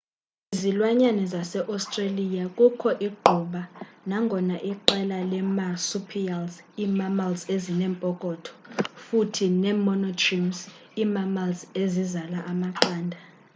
kwizilwanyane zase-australia kukho igquba nangona iqela leemarsupials ii-mammals ezinempokotho futhi iimonotremes ii-mammals ezizala amaqanda